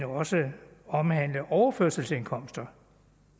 også omhandle overførselsindkomster